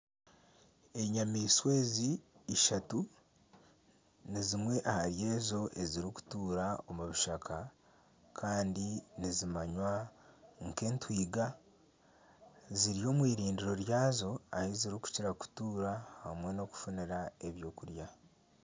Enyamaishwa ezi ishatu ni zimwe ahari ezo ezirikutuura omu bishaka kandi nizimanywa nk'entwiga ziri omu irindiro ryazo ahu zirikukira kutuura hamwe n'okufunira ebyokurya